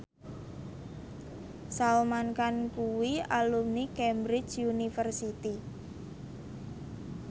Salman Khan kuwi alumni Cambridge University